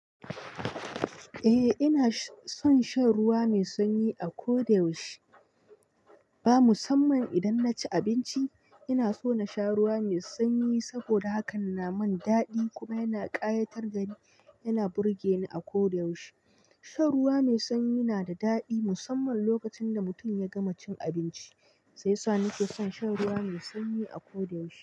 Ni ina son shan ruwa mai sanyi, a ko da yaushe. Ba musamman idan na ci abinci ina so na sha ruwa mai sanyi saboda hakan na mun dadi kuma yana kayatar dani, yana burgeni a ko da yaushe. Shan ruwa mai sanyi na da dadi musamman lokacin da mutum ya gama cin abinci. Shi yasa ni ke son shan ruwa mai sanyi a ko da yaushe.